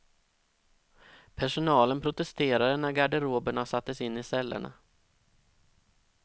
Personalen protesterade när garderoberna sattes in i cellerna.